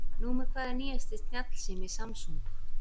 Númer hvað er nýjasti snjallsími Samsung?